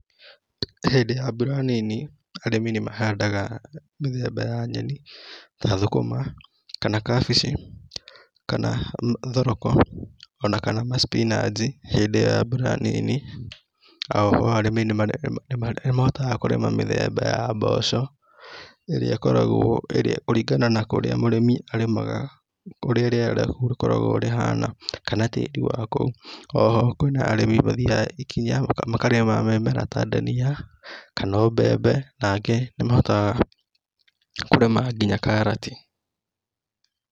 Hĩndĩ ya mbura nini, arĩmi nĩ mahandaga mĩthemba ya nyeni, ta thũkũma, kana kambici, kana thoroko, o na kana ma spinanch, hĩndĩ ya mbura nini. O ho arĩmi nĩmahotaga kũrĩma mĩthemba ya mboco, ĩrĩa ĩkoagwo kũringana na kũrĩa mũrĩmi arĩmaga, ũrĩa rĩera rĩkoragwo rĩhana, kana tĩri wa kou, o ho kwĩna arĩmi mathiaga ikinya, makarĩma mĩmera ta ndania, kana o mbembe, nangĩ, nĩmahotaga kũrĩma nginya karati.